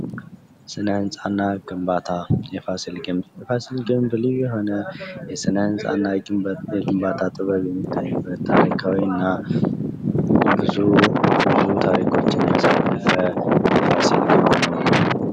ስነ ህንጻ የቦታን አደረጃጀትና የቁሳቁስን ምርጫ በጥንቃቄ በማጤን ምቹና ቀልጣፋ አካባቢዎችን ይፈጥራል፤ ግንባታ ደግሞ እነዚህን ሀሳቦች በተግባር ያሳያል